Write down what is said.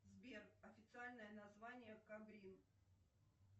сбер официальное название кабрин